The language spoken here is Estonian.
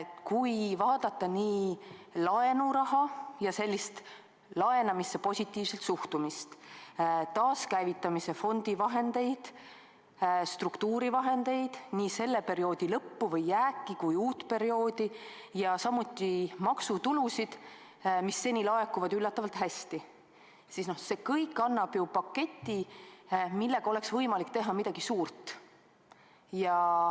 Kui vaadata laenuraha ja laenamisse positiivselt suhtumist, taaskäivitamise fondi vahendeid, struktuurivahendeid, nii selle perioodi lõpu vahendeid või jääki kui ka uue perioodi vahendeid, ja samuti maksutulusid, mis seni laekuvad üllatavalt hästi, siis see kõik annab ju kokku paketi, millega oleks võimalik teha midagi suurt.